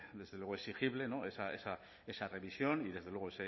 exigible esa revisión y